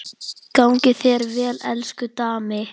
Gangi þér vel, elsku Dammi.